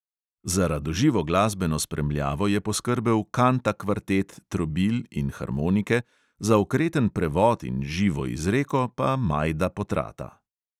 Za radoživo glasbeno spremljavo je poskrbel kanta kvartet trobil in harmonike, za okreten prevod in živo izreko pa majda potrata.